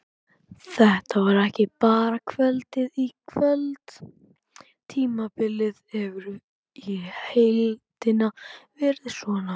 Þetta var ekki bara kvöldið í kvöld, tímabilið hefur í heildina verið svona.